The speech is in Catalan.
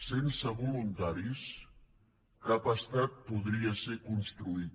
sense voluntaris cap estat podria ser construït